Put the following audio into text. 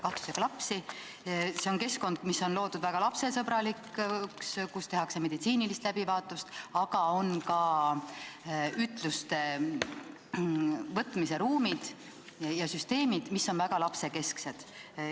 Lastemaja on keskkond, mis on loodud väga lapsesõbralikuna ja kus tehakse meditsiinilist läbivaatust, aga seal on ka ütluste võtmise ruumid ja süsteemid, mis on väga lapsekesksed.